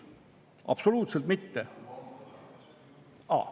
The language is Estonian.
Absoluutselt mitte!